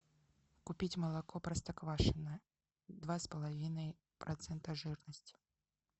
купить молоко простоквашино два с половиной процента жирности